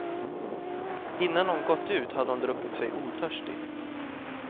Innan hon gått ut hade hon druckit sig otörstig.